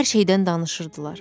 Hər şeydən danışırdılar.